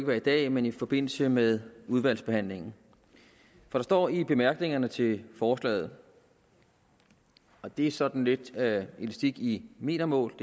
være i dag men i forbindelse med udvalgsbehandlingen der står i bemærkningerne til forslaget og det er sådan lidt elastik i metermål